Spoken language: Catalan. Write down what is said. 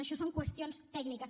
això són qüestions tècniques